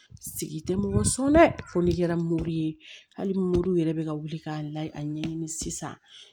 Sigi tɛ mɔgɔ sɔn dɛ fo n'i kɛra mori ye hali mori yɛrɛ bɛ ka wuli ka layɛ a ɲɛɲini sisan